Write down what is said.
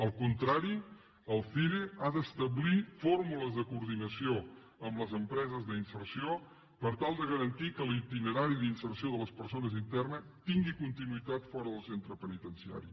al contrari el cire ha d’establir fórmules de coordinació amb les empreses d’inserció per tal de garantir que l’itinerari d’inserció de les persones internes tingui continuïtat fora del centre penitenciari